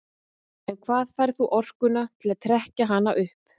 En hvaðan færð þú orkuna til að trekkja hana upp?